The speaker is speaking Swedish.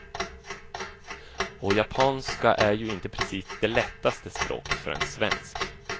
Och japanska är ju inte precis det lättaste språket för en svensk.